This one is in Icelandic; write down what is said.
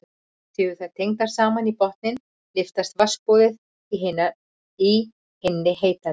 Séu þær tengdar saman í botninn lyftist vatnsborðið í hinni heitari.